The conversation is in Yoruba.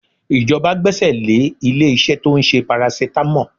Ìjọba gbẹ́sẹ̀ lé ilé-iṣẹ́ tó ń ṣe paracetamol